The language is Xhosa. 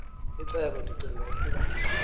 icebo ndicinga ukuba